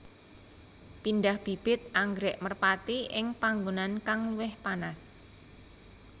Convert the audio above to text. Pindah bibit anggrèk merpati ing panggonan kang luwih panas